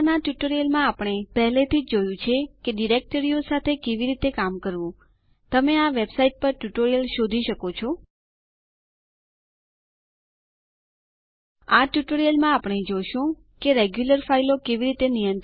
adduser su usermod userdel id D U D F આ ટ્યુટોરીયલમાં હું ઉબુન્ટુ 10 10 નો ઉપયોગ કરી રહી છું